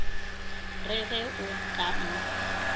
re ge o ka mpha